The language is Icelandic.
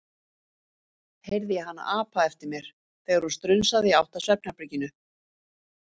heyrði ég hana apa eftir mér, þegar hún strunsaði í átt að svefnherberginu.